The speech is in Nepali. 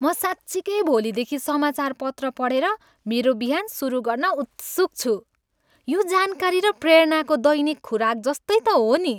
म साँच्चिकै भोलिदेखि समाचारपत्र पढेर मेरो बिहान सुरु गर्न उत्सुक छु। यो जानकारी र प्रेरणाको दैनिक खुराक जस्तै त हो नि।